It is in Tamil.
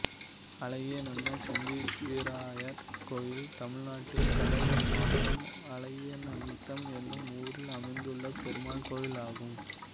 அழகியநத்தம் சஞ்சிவிராயர் கோயில் தமிழ்நாட்டில் கடலூர் மாவட்டம் அழகியநத்தம் என்னும் ஊரில் அமைந்துள்ள பெருமாள் கோயிலாகும்